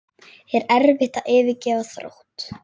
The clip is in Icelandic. Er erfitt að yfirgefa Þrótt?